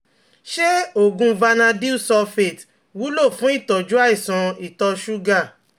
Ṣé oògùn Vanadyl Sulfate wúlò fún ìtọ́jú àìsàn ìtọ̀ ṣúgà?